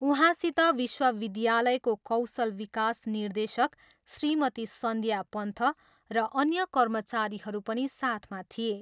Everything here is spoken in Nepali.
उहाँसित विश्वविद्यालयको कौशल विकास निर्देशक श्रीमती सन्ध्या पन्थ र अन्य कर्मचारीहरू पनि साथमा थिए।